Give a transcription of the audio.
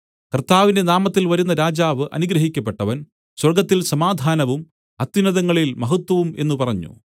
കർത്താവിന്റെ നാമത്തിൽ വരുന്ന രാജാവ് അനുഗ്രഹിക്കപ്പെട്ടവൻ സ്വർഗ്ഗത്തിൽ സമാധാനവും അത്യുന്നതങ്ങളിൽ മഹത്വവും എന്നു പറഞ്ഞു